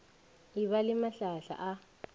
e ba le mahlahla a